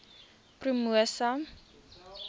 promosa